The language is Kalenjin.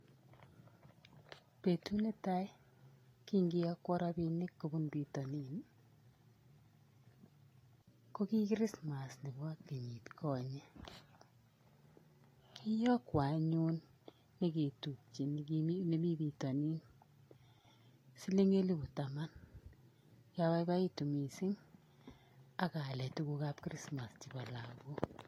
Betut netaa king'iyokwon rabinik kobun bitonin ii, ko kii kirismas nekibo kenyit konyee, kiyokwon anyun neketubche nemii bitonin siling elibu taman, kiabaibaitu mising akaalen tukukab kirismas chebo lagok.